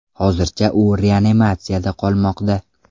Hozircha u reanimatsiyada qolmoqda.